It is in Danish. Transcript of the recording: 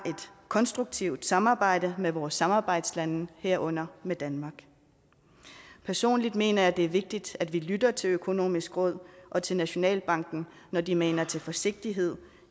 konstruktivt samarbejde med vores samarbejdslande herunder med danmark personligt mener jeg det er vigtigt at vi lytter til økonomisk råd og til nationalbanken når de maner til forsigtighed